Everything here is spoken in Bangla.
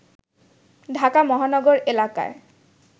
ঢাকা মহানগর এলাকায়